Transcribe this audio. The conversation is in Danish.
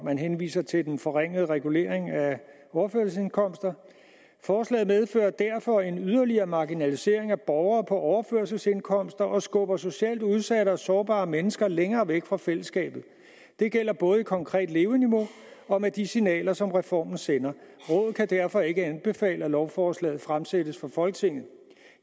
man henviser til den forringede regulering af overførselsindkomster forslaget medfører derfor en yderligere marginalisering af borgere på overførselsindkomster og skubber socialt udsatte og sårbare mennesker længere væk fra fællesskabet det gælder både i konkret leveniveau og med de signaler som reformen sender rådet kan derfor ikke anbefale at lovforslaget fremsættes for folketinget